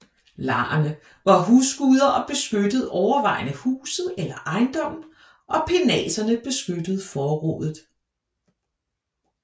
Larerne var husguder og beskyttede overvejende huset eller ejendommen og penaterne beskyttede forrådet